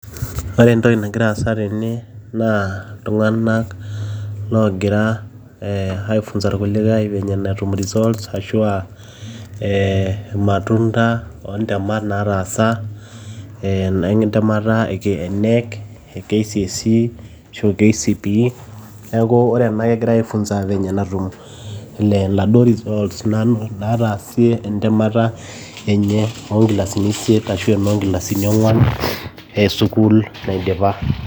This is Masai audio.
Ore entoki nagira aasa tene naa iltung'anak logira aifunza irkulikae venye netum results ashu a irmatunda o ntemat nataasa, entemata e knec e kcse ashu kcpe. Neeku ore ena naake egirai aifunza venye natum inaduo results nataasie entemata enye onkilasini isiet ashu e noonkilasini ong'uan e sukuul naidipa.